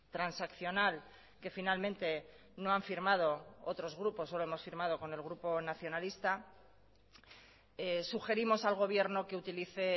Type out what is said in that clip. transaccional que finalmente no han firmado otros grupos solo hemos firmado con el grupo nacionalista sugerimos al gobierno que utilice